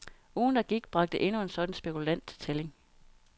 Ugen, der gik, bragte endnu en sådan spekulant til tælling.